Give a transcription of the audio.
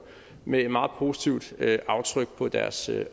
med et meget positivt aftryk på deres